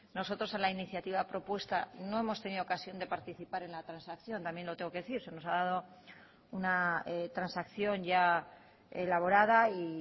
nosotros a la iniciativa propuesta no hemos tenido ocasión de participar en la transacción también lo tengo que decir se nos ha dado una transacción ya elaborada y